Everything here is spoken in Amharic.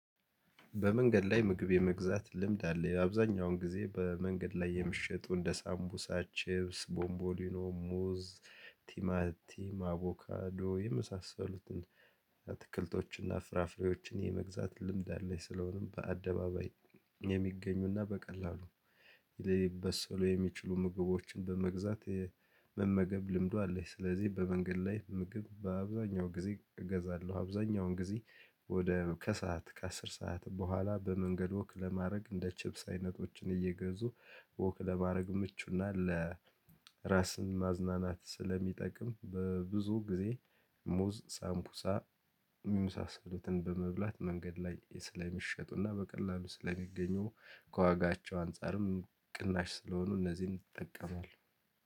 በመንገድ ላይ ምግብ የመግዛት ልምድ አለ የአብዛኛውን ጊዜ በመንገድ ላይ የምሽጡ እንደ ሳምቡሳ ችብስ ቦምቦሊኖ ሙዝ ቲማቲም አቮካዶ የመሳሰሉትን አትክልቶችን እና ፍራፍሬዎችን የመግዛት ልምድ አለኝ። ስለሆነም በአደባባይ የሚገኙና በቀላሉ ሊበሰሉ የሚችሉ ምግቦችን በመግዛት መመገብ ልምዱ አለኝ። ስለዚህ በመንገድ ላይ ምግብ በአብዛኛው ጊዜ እገዛለሁ አብዛኛውን ጊዜ ወደ ከሰአት ከአስር ሰዓት በኋላ በመንገድ ወክ ለማድረግ እንደ ችብስ አይነቶችን እየገዙ ወክ ለማድረግ ምቹና ለራስን ማዝናናት ስለሚጠቅም በብዙ ጊዜ። ሙዝ ሳምኩሳ ሚመሳሰሎትን በመብላት መንገድ ላይ ስለሚሸጡና በቀላሉ ስለሚገኙ ከዋጋቸው አንፃርም ቅናሽ ስለሆኑ እነዚህን እጠቀማለሁ